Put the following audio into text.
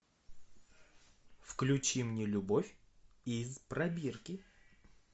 включи мне любовь из пробирки